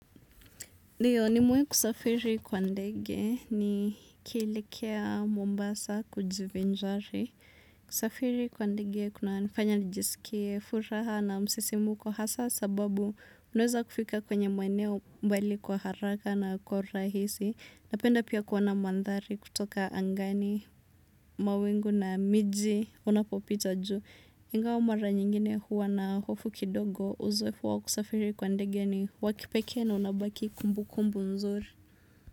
Ndiyo ni mewai kusafiri kwa ndege ni kielekea mombasa kujivinjari. Kusafiri kwa ndege kuna nifanya nijisikie furaha na msisimuko hasa sababu unaweza kufika kwenye maeneo mbali kwa haraka na kwa ura hisi. Napenda pia kuona mandhari kutoka angani mawingu na miji unapopita juu. Ingawa mara nyingine huwa na hofu kidogo uzoefu wakusafiri kwa ndege ni wakipekee na unabaki kumbu kumbu nzuri.